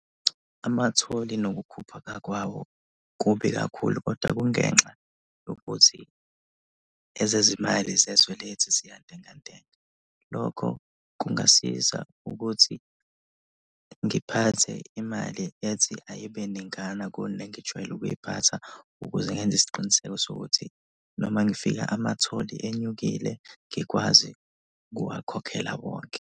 Amathole nokukhuphuka kwawo kubi kakhulu kodwa kungenxa yokuthi ezezimali zezwe lethu ziyantenga ntenga. Lokho kungasiza ukuthi ngiphathe imali ethi ayibe ningana kunegijwayele ukuyiphatha ukuze ngenze isiqiniseko sokuthi noma ngifika amathole enyukile ngikwazi ukuwakhokhela wonke.